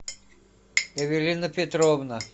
эвелина петровна